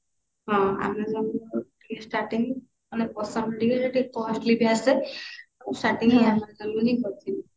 ହଁ amazon ରୁ କରୁଥିଲି starting ରୁ ମାନେ ପସନ୍ଦ ଟିକେ ଟିକେ costly ବି ଆସେ ଆଉ starting amazon ରୁ ହିଁ କରୁଥିଲି